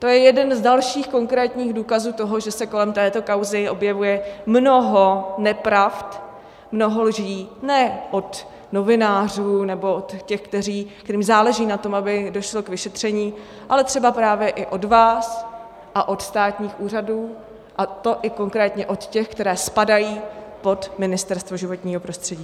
To je jeden z dalších konkrétních důkazů toho, že se kolem této kauzy objevuje mnoho nepravd, mnoho lží, ne od novinářů nebo od těch, kterým záleží na tom, aby došlo k vyšetření, ale třeba právě i od vás a od státních úřadů, a to i konkrétně od těch, které spadají pod Ministerstvo životního prostředí.